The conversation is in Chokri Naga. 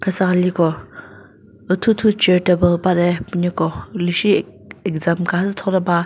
süsa liko ithu thu chair table lü bade püneko lishi exam kha thoba.